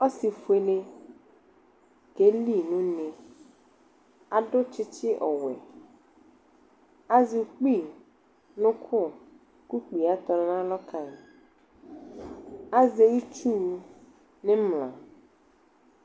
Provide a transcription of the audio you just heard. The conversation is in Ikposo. Ɔse fuele ke li no une aso tsetse ɔwɛAzɛ ukpi no oko ko ukpi a atɔ nalɔ kaiAzɛ itsu nimla